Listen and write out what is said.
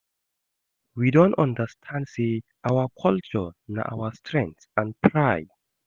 We don understand say our culture na our strength and pride.